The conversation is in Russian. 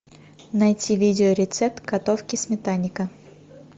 найти видео рецепт готовки сметанника